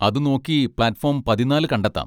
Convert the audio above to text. അത് നോക്കി platform പതിനാല് കണ്ടെത്താം.